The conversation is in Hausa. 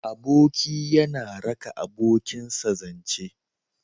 Aboki yana raka abokinsa zance.